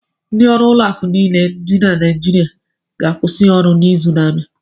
Ndị ọrụ ụlọakụ niile dị na Naịjirịa ga-akwụsị ọrụ n'izu n'abịa.